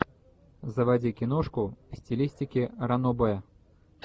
заводи киношку в стилистике ранобэ